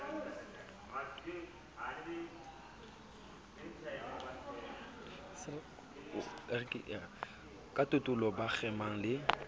ka tatolo ba kgemang le